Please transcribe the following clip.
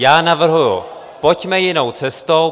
Já navrhuji: Pojďme jinou cestou!